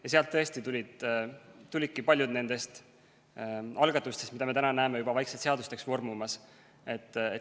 Ja sealt tõesti tulidki paljud nendest algatustest, mida me nüüd näeme juba vaikselt seadusteks vormumas.